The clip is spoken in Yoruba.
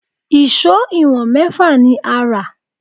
Èṣó ìwọ̀n mẹ́fà ni a rà